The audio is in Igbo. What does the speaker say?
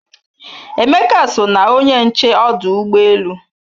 Emeka so na onye nche ọdụ ụgbọ elu